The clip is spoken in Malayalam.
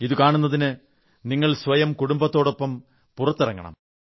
ഇത് കാണുന്നതിന് നിങ്ങൾ സ്വയം കുടുംബത്തോടൊപ്പം പുറത്തിറങ്ങണം